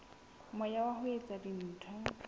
moya wa ho etsa dintho